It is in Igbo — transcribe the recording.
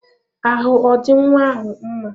Ahụ ọ dị nwa ahụ mma?